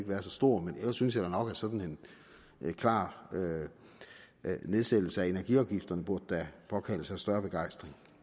være så stor men ellers synes jeg da nok at sådan en klar nedsættelse af energiafgifterne burde påkalde sig større begejstring